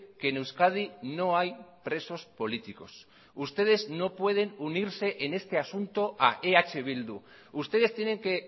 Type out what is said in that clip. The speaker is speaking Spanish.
que en euskadi no hay presos políticos ustedes no pueden unirse en este asunto a eh bildu ustedes tienen que